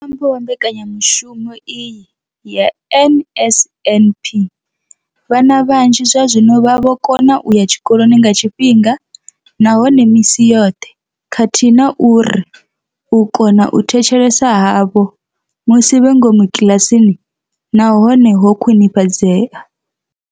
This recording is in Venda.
Nga ṅwambo wa mbekanya mushumo iyi ya NSNP, vhana vhanzhi zwazwino vha vho kona u ya tshikoloni nga tshifhinga nahone misi yoṱhe khathihi na uri u kona u thetshelesa havho musi vhe ngomu kiḽasini na hone ho khwinifhadzea.